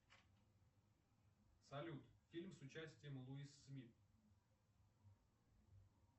салют фильм с участием луис смит